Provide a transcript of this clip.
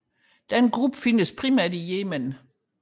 Denne gruppe findes primært i Yemen